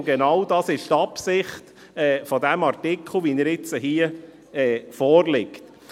Und genau dies ist die Absicht dieses Artikels, wie er jetzt hier vorliegt.